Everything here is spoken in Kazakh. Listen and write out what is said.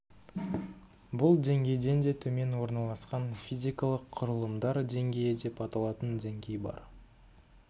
бұл деңгейден де төмен орналасқан физикалық құрылымдар деңгейі деп аталатын деңгей бар